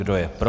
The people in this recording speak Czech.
Kdo je pro?